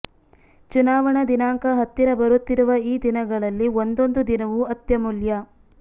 ಚುನಾವಣಾ ದಿನಾಂಕ ಹತ್ತಿರ ಬರುತ್ತಿರುವ ಈ ದಿನಗಳಲ್ಲಿ ಒಂದೊಂದು ದಿನವೂ ಅತ್ಯಮೂಲ್ಯ